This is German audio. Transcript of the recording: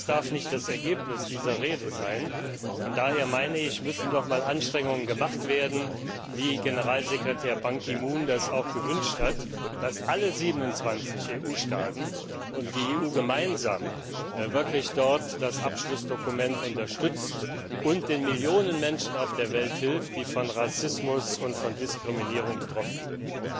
Das darf nicht das Ergebnis dieser Rede sein, und daher meine ich, dass nochmals Anstrengungen gemacht werden müssen wie Generalsekretär Ban Ki moon das auch gewünscht hat dass alle 27 EU Staaten und die EU gemeinsam wirklich dort das Abschlussdokument unterstützt und den Millionen Menschen auf der Welt hilft, die von Rassismus und von Diskriminierung betroffen sind.